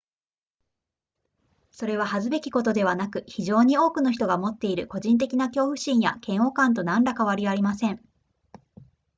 それは恥ずべきことではなく非常に多くの人が持っている個人的な恐怖心や嫌悪感と何ら変わりません